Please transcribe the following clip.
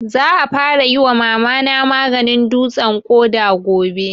Za a fara yi wa Mama na maganin dutsen ƙoda gobe